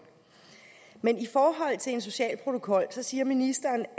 men i forhold til en social protokol siger ministeren